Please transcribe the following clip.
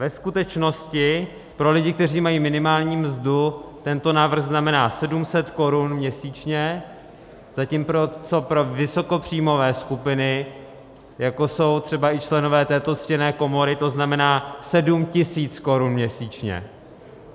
Ve skutečnosti pro lidi, kteří mají minimální mzdu, tento návrh znamená 700 korun měsíčně, zatímco pro vysokopříjmové skupiny, jako jsou třeba i členové této ctěné komory, to znamená 7 000 korun měsíčně.